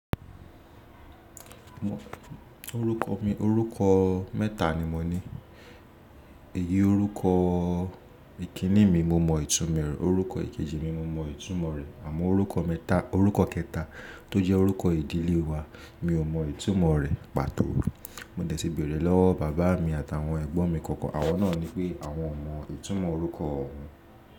Orúkọ mi, orúkọ mẹ́ta ni mo ní. Èyí orúkọ ìkíní mi, mo mọ ìtumọ̀ rẹ̀, orúkọ ìkejì mi, mo mọ ìtumọ̀ rẹ̀ àmọ́ orúkọ kẹta tó jẹ́ orúkọ ìdílé wa mi ò mọ ìtumọ̀ rẹ̀. Pàtó, mo dẹ̀ tí bẹ̀rẹ lọ́wọ́ bàbá mi àtàwọn ẹ̀gbọ́n mi kankan, àwọn náà ni pé àwọn ò mọ ìtumọ̀ orúkọ òhun.